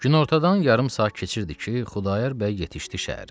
Günortadan yarım saat keçirdi ki, Xudayar bəy yetişdi şəhərə.